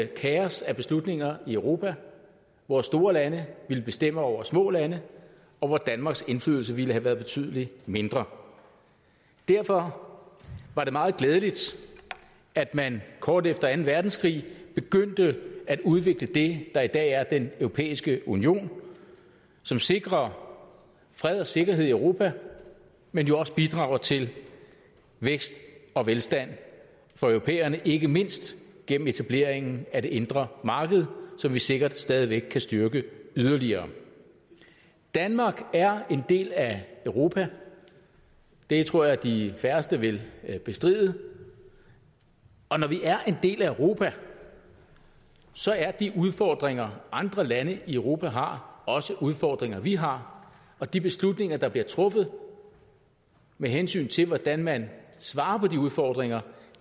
kaos af beslutninger i europa hvor store lande ville bestemme over små lande og hvor danmarks indflydelse ville have været betydelig mindre derfor var det meget glædeligt at man kort efter anden verdenskrig begyndte at udvikle det der i dag er den europæiske union som sikrer fred og sikkerhed i europa men jo også bidrager til vækst og velstand for europæerne ikke mindst gennem etableringen af det indre marked som vi sikkert stadig væk kan styrke yderligere danmark er en del af europa det tror jeg at de færreste vil bestride og når vi er en del af europa så er de udfordringer andre lande i europa har også udfordringer vi har og de beslutninger der bliver truffet med hensyn til hvordan man svarer på de udfordringer